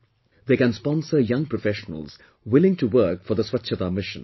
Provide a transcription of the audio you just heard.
They can sponsor young professionals willing to work for Swachchhata Mission